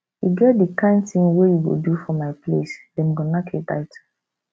e get di kain tin wey you go do for my place dem go nack you title